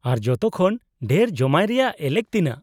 -ᱟᱨ ᱡᱚᱛᱚ ᱠᱷᱚᱱ ᱰᱷᱮᱨ ᱡᱚᱢᱟᱭ ᱨᱮᱭᱟᱜ ᱮᱞᱮᱠ ᱛᱤᱱᱟᱹᱜ ?